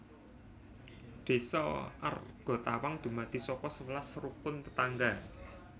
Désa Argatawang dumadi saka sewelas Rukun Tetangga